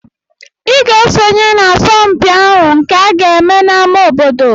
Ị ga-esonye n'asọmpi ahụ nke aga-eme n'ámá obodo!